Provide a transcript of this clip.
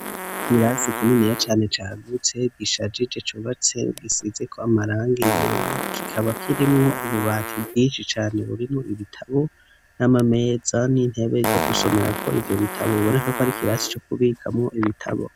Ikirasi kininiya cane cagutse giishajije cubatse gisizeko amarangi yera kikaba kirimwo ububati bwinshi cane burimwo ibitabo n'amameza n'intebe ryo gusomerako ivyo bitabo biboneka ko ari ikirasi co kubikamwo ibitabo.